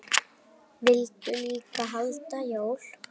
Vildu líka halda jól.